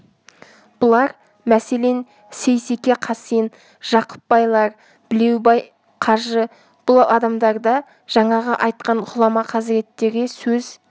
бұлар мәселен сейсеке қасен жақып байлар білеубай қажы бұл адамдар да жаңағы айтқан ғұлама хазіреттерге сөз